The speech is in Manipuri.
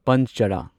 ꯄꯟꯆꯔꯥ